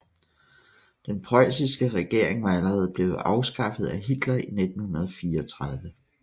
Den preussiske regering var allerede blevet afskaffet af Hitler i 1934